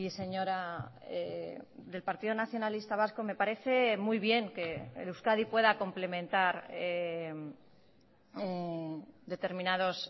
señora del partido nacionalista vasco me parece muy bien que euskadi pueda complementar determinados